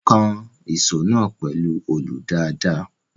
Kan ìṣó náà pẹ̀lú olù dáadáa.